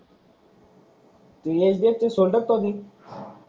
,